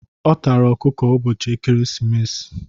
Ọ tara ọkụkọ ụbọchị ekeresimesi.